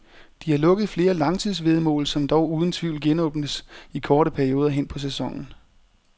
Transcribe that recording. De har lukket flere langtidsvæddemål, som dog uden tvivl genåbnes i korte perioder hen på sæsonen.